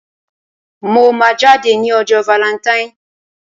Mo máa jáde ní ọjọ́ valẹntain.